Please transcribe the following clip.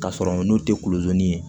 Ka sɔrɔ n'o tɛ kulodimi ye